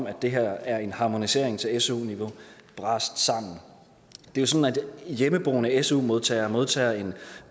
at det her er en harmonisering til su niveau brast sammen det er sådan at hjemmeboende su modtagere modtager en